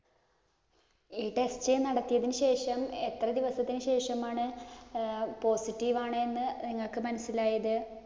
ഈ test നടത്തിയതിനുശേഷം എത്ര ദിവസത്തിനു ശേഷമാണ് positive ആണ് എന്ന് നിങ്ങക്ക് മനസിലായത്.